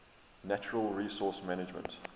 natural resource management